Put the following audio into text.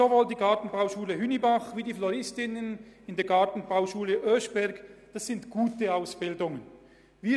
Sowohl die Gartenbauschule Hünibach als auch die Floristinnenklasse der Gartenbauschule Oeschberg bieten gute Ausbildungen an.